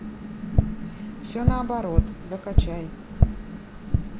все наоборот закачай